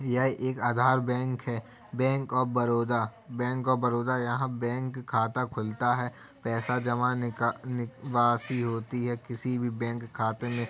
यह एक आधार बैंक है। Bank of Baroda bank of Baroda यहाँ बैंक खाता खुलता है। पैसा जमाने निका निकावाशी होती है। किसी भी बैंक खाते में।